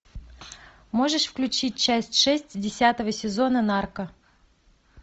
можешь включить часть шесть десятого сезона нарко